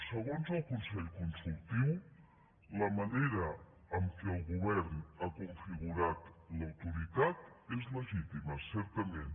segons el consell consultiu la manera en què el govern ha configurat l’autoritat és legítima certament